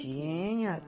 Tinha.